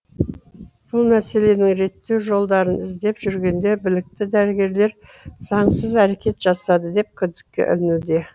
бұл мәселенің реттеу жолдарын іздеп жүргенде білікті дәрігерлер заңсыз әрекет жасады деп күдікке ілінуде